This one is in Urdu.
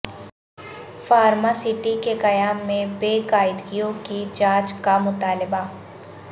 فارماسٹی کے قیام میں بے قاعدگیوں کی جانچ کا مطالبہ